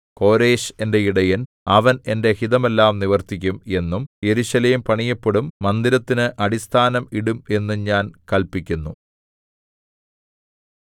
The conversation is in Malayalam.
കോരെശ് എന്റെ ഇടയൻ അവൻ എന്റെ ഹിതമെല്ലാം നിവർത്തിക്കും എന്നും യെരൂശലേം പണിയപ്പെടും മന്ദിരത്തിന് അടിസ്ഥാനം ഇടും എന്നും ഞാൻ കല്പിക്കുന്നു